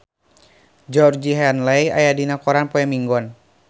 Georgie Henley aya dina koran poe Minggon